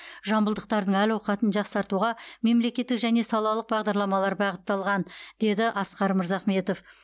жамбылдықтардың әл ауқатын жақсартуға мемлекеттік және салалық бағдарламалар бағытталған деді асқар мырзахметов